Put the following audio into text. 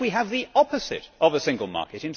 Thus we have the opposite of a single market.